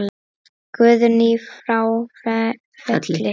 Guðný frá Felli.